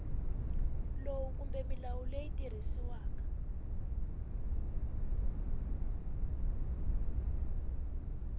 lowu kumbe milawu leyi tirhisiwaka